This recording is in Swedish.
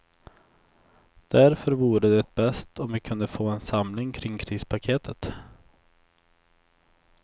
Därför vore det bäst om vi kunde få en samling kring krispaketet.